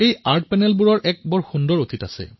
এই শিল্প পেনেলৰ এক সুন্দৰ অতীত আছে